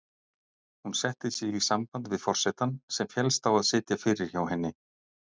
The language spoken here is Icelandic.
Hún setti sig í samband við forsetann, sem féllst á að sitja fyrir hjá henni.